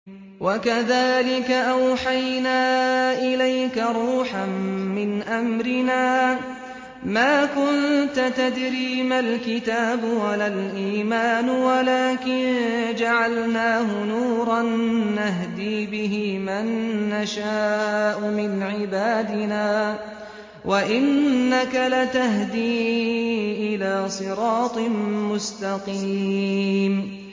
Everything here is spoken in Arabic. وَكَذَٰلِكَ أَوْحَيْنَا إِلَيْكَ رُوحًا مِّنْ أَمْرِنَا ۚ مَا كُنتَ تَدْرِي مَا الْكِتَابُ وَلَا الْإِيمَانُ وَلَٰكِن جَعَلْنَاهُ نُورًا نَّهْدِي بِهِ مَن نَّشَاءُ مِنْ عِبَادِنَا ۚ وَإِنَّكَ لَتَهْدِي إِلَىٰ صِرَاطٍ مُّسْتَقِيمٍ